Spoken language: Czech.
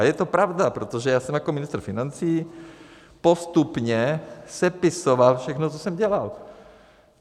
A je to pravda, protože já jsem jako ministr financí postupně sepisoval všechno, co jsem dělal.